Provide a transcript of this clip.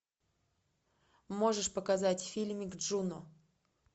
можешь показать фильмик джуно